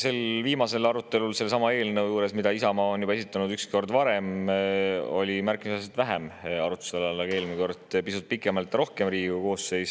Sel viimasel arutelul selle eelnõu üle, mille Isamaa on juba ükskord varem esitanud, oli märkimisväärselt vähem arutluse all, aga eelmine kord oli pisut rohkem ja pikemalt.